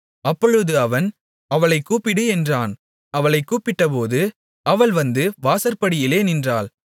அப்பொழுது அவன் அவளைக் கூப்பிடு என்றான் அவளைக் கூப்பிட்டபோது அவள் வந்து வாசற்படியிலே நின்றாள்